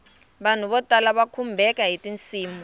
vanhu vo tala va khumbeka hiti nsimu